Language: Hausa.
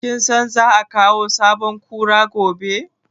Kin san za a kawo sabon Kura gobe?